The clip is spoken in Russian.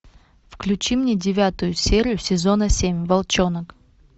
включи мне девятую серию сезона семь волчонок